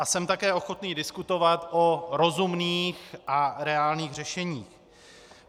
A jsem také ochotný diskutovat o rozumných a reálných řešeních.